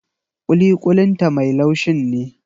Kuli-kulin ta mai laushin ne.